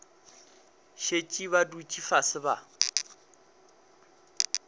šetše ba dutše fase ba